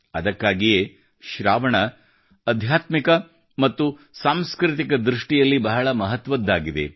ಅದಕ್ಕಾಗಿಯೇ ಶ್ರಾವಣ ಆಧ್ಯಾತ್ಮಿಕ ಮತ್ತು ಸಾಂಸ್ಕೃತಿಕ ದೃಷ್ಟಿಯಲ್ಲಿ ಬಹಳ ಮಹತ್ವದ್ದಾಗಿದೆ